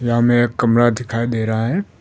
यहां में एक कमरा दिखाई दे रहा है।